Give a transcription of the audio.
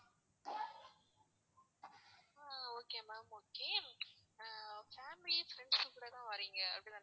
okay ma'am okay ஆஹ் family, friends ங்க கூட தான் வாரீங்க அப்படித்தானே